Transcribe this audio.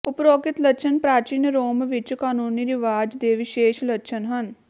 ਉਪਰੋਕਤ ਲੱਛਣ ਪ੍ਰਾਚੀਨ ਰੋਮ ਵਿਚ ਕਾਨੂੰਨੀ ਰਿਵਾਜ ਦੇ ਵਿਸ਼ੇਸ਼ ਲੱਛਣ ਹਨ